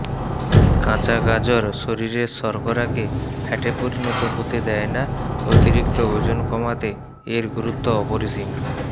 কাঁচা গাজর শরীরের শর্করাকে ফ্যাটে পরিণত হতে দেয় না অতিরিক্ত ওজন কমাতে এর গুরুত্ব অপরিসীম